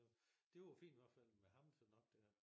Det var fint i hvert fald med ham sådan oppe der